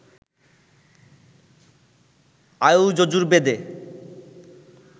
আয়ু যজুর্বেদে